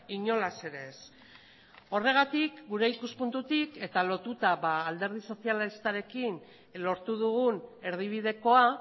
inolaz ere ez horregatik gure ikuspuntutik eta lotuta alderdi sozialistarekin lortu dugun erdibidekoa